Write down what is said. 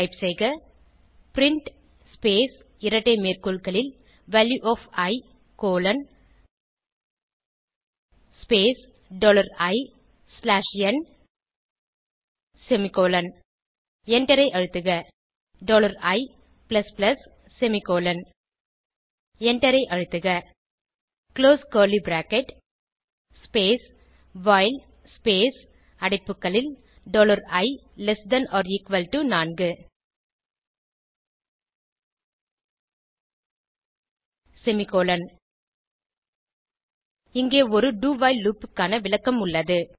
type செய்க print space இரட்டை மேற்கோள்களில் value of e colon space dollar e slash n semicolon எண்டரை அழுத்துக dollar e plus plus semicolon எண்டரை அழுத்துக close curly bracket space while space அடைப்புகளில் dollar e less than or equal to four semicolon இங்கே ஒரு do while loop க்கான விளக்கம் உள்ளது